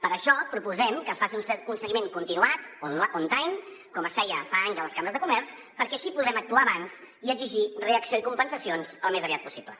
per això proposem que es faci un seguiment continuat on time com es feia fa anys a les cambres de comerç perquè així podrem actuar abans i exigir reacció i compensacions al més aviat possible